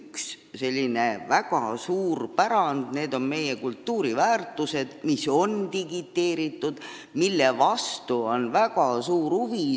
Kindlasti on Eesti riigil üks väga suur pärand, need on meie kultuuriväärtused, mis on digiteeritud ja mille vastu on väga suur huvi.